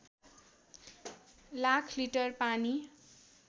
lakh litre पानी